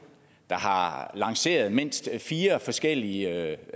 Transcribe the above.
der har lanceret mindst fire forskellige